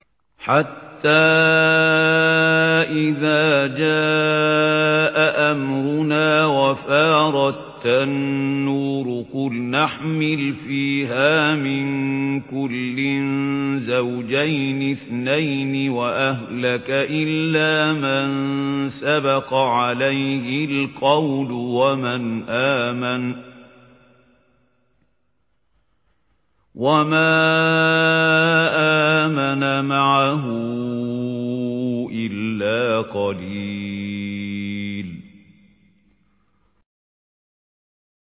حَتَّىٰ إِذَا جَاءَ أَمْرُنَا وَفَارَ التَّنُّورُ قُلْنَا احْمِلْ فِيهَا مِن كُلٍّ زَوْجَيْنِ اثْنَيْنِ وَأَهْلَكَ إِلَّا مَن سَبَقَ عَلَيْهِ الْقَوْلُ وَمَنْ آمَنَ ۚ وَمَا آمَنَ مَعَهُ إِلَّا قَلِيلٌ